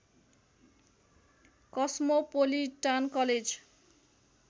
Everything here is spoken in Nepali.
cosmopolitan college